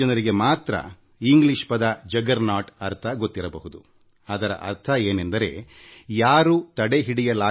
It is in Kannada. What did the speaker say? ಜುಗ್ಗೇರ್ನೌತ್ ಅಂದರೆ ಅದ್ಭುತವಾದ ರಥ ಅದನ್ನು ನಿಲ್ಲಿಸಲು ಸಾಧ್ಯವೇ ಇಲ್ಲ